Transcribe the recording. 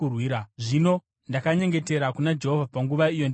Zvino ndakanyengetera kuna Jehovha panguva iyo, ndikati,